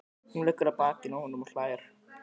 Hún liggur á bakinu á honum og hlær.